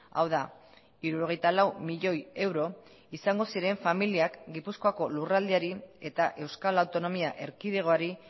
hau da hirurogeita lau milioi euro izango ziren familiak gipuzkoako lurraldeari eta euskal autonomia erkidegoari